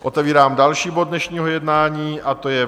Otevírám další bod dnešního jednání, a to je